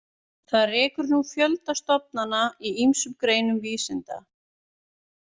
Það rekur nú fjölda stofnana í ýmsum greinum vísinda.